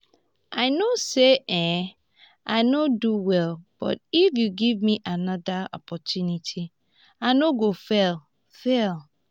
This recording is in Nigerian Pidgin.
i know say um i no do well but if you give me another opportunity i no go fail fail